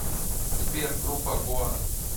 сбер группа гоа